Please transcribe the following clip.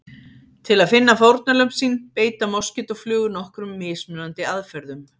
Til að finna fórnarlömb sín beita moskítóflugur nokkrum mismunandi aðferðum.